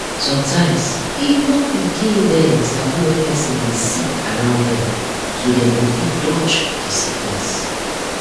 sometimes even pikin dem sabi when person dey sick around dem so dem go fit dodge the sickness.